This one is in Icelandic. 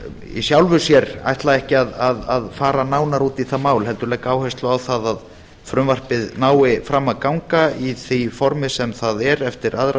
í sjálfu sér ætla ekki að fara nánar út í það mál heldur legg áherslu á það að frumvarpið nái fram að ganga í því formi sem það er eftir aðra